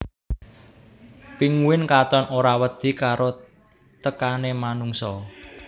Pinguin katon ora wedi karo tekané manungsa